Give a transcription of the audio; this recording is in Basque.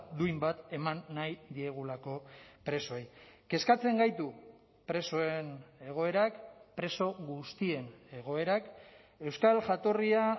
duin bat eman nahi diegulako presoei kezkatzen gaitu presoen egoerak preso guztien egoerak euskal jatorria